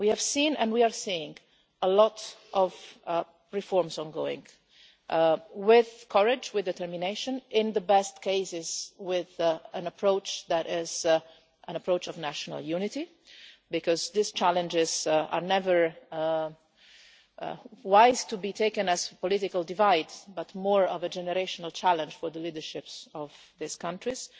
We have seen and we are seeing a lot of ongoing reforms, with courage and determination and in the best cases with an approach that is an approach of national unity, because these challenges are never wise to be taken as political divides but more as a generational challenge for the leaderships of these countries.